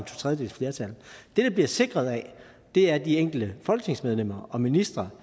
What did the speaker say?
tredjedeles flertal det det bliver sikret af er de enkelte folketingsmedlemmer og ministre